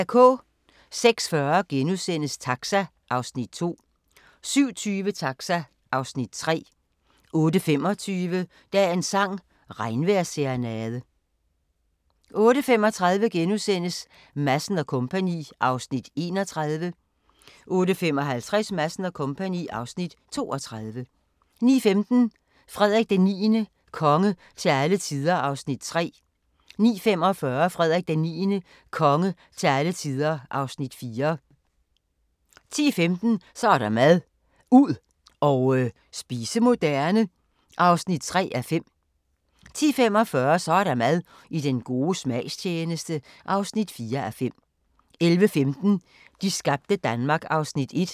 06:40: Taxa (Afs. 2)* 07:20: Taxa (Afs. 3) 08:25: Dagens sang: Regnvejrsserenade 08:35: Madsen & Co. (Afs. 31)* 08:55: Madsen & Co. (Afs. 32) 09:15: Frederik IX – konge til alle tider (Afs. 3) 09:45: Frederik IX – konge til alle tider (Afs. 4) 10:15: Så er der mad – ud og spise moderne (3:5) 10:45: Så er der mad – I den gode smags tjeneste (4:5) 11:15: De skabte Danmark (Afs. 1)